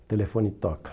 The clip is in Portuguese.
O telefone toca.